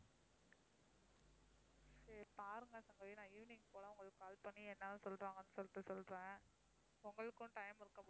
சரி பாருங்க சங்கவி நான் evening போல உங்களுக்கு call பண்ணி என்னதான் சொல்றாங்கன்னு சொல்லிட்டு சொல்றேன் உங்களுக்கும் time இருக்கும் போது